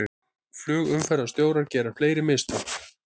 Flugumferðarstjórar gera fleiri mistök